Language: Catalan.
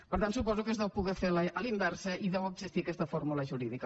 per tant suposo que es deu poder fer a la inversa i deu existir aquesta fórmula jurídica